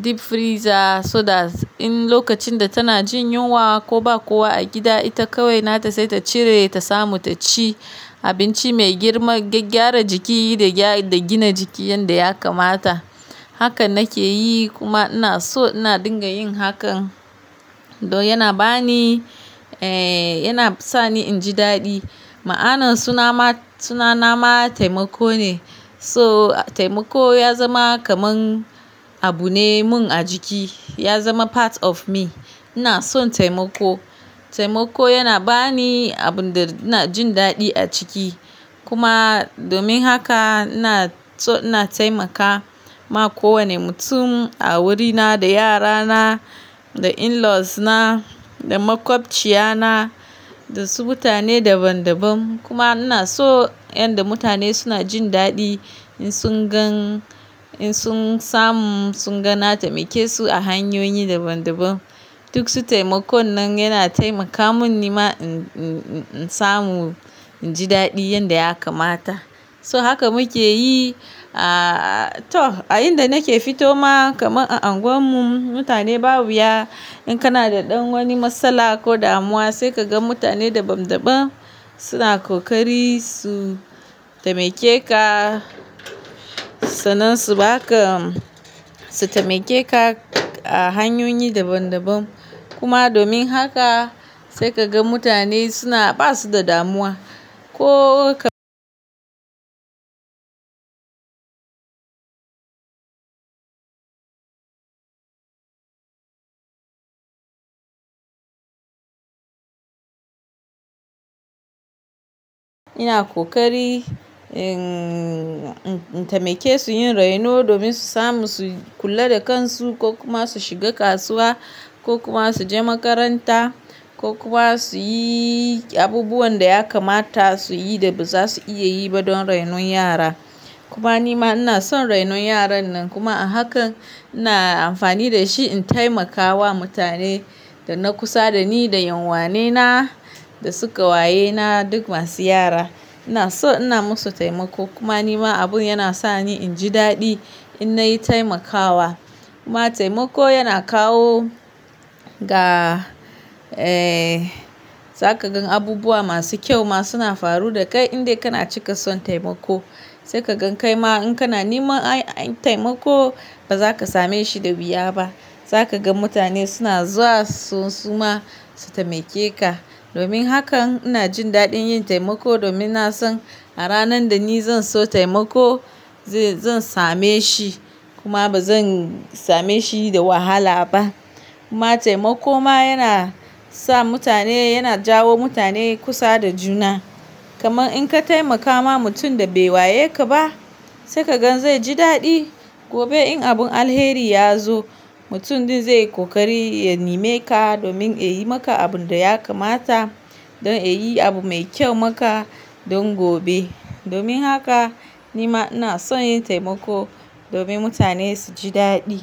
deep freezer so that in lokacin da tana jin yunwa ko ba kowa a gida, ita kawai nata sai ta cire ta samu ta ci abinci mai girma, gyara jiki da gina jiki yanda ya kamata. Haka nake yi kuma ina so ina dinga yin hakan. Don yana ba ni, eh, yana sa ni in ji daɗi. Ma'anan suna na, suna na ma taimako ne. So taimako ya zama kaman abu ne mun a jiki. Ya zama part of me. Ina son taimako. Taimako yana ba ni abun da ina jin daɗi a jiki. Ina dinga taimaka, in ina da ɗan wani kuɗi sai in kara musu a kan na su kuɗin kuma domin haka ina so ina taimaka ma kowane mutum a wurina, da yara na, da in-laws na, da makwabciya na, da su mutane daban-daban. Kuma ina so yanda mutane suna jin daɗi in sun gan, in sun samu, sun ga na taimake su a hanyoyi daban-daban. So haka muke yi, ah, to a inda nake fito ma kaman a unguwan mu, mutane babu wuya. In kana da ɗan wani matsala ko damuwa, sai ka ga mutane daban-daban suna ƙoƙari su taimake ka. Sannan su baka, su taimake ka a hanyoyi daban-daban. Kuma domin haka sai ka ga mutane suna basu da damuwa. Ko ka ina ƙoƙari, innn, in taimake su yin raino domin su samu su kula da kan su ko kuma su shiga kasuwa ko kuma su je makaranta ko kuma su yi abubuwan da ya kamata su yi da baza su iya yi ba don rainon yara. Kuma nima ina son rainon yaran nan kuma a hakan ina amfani da shi in taimakawa mutane da na kusa da ni, da yan'uwane na, da su ƙawaye na duk masu yara. Ina so ina musu taimako. Kuma ni ma abu yana sa ni in ji daɗi in nayi taimakawa. Kuma taimako yana kawo ga, eh, za ka gan abubuwa masu kyau ma suna faru da kai in dai kana cika son taimako. Sai ka gan kai ma in kana niman ai, taimako ba za ka same shi da wuya ba. Za ka ga mutane suna zuwa su suma su taimake ka. Domin hakan ina jin daɗin yin taimako domin na san a ranan da ni zan so taimako, zan same shi kuma bazan same shi da wahala ba. Kuma taimako ma yana sa mutane, yana jawo mutane kusa da juna. Kaman in ka taimaka ma mutum da bai waye ka ba, sai ka gan zai ji daɗi. Domin hakan ina jin daɗin yin taimako domin na san a ranan da ni zan so taimako, zan same shi kuma ba zan same shi da wahala ba. Domin haka ni ma ina son yin taimako domin mutane su ji daɗi.